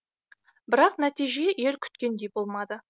бірақ нәтиже ел күткендей болмады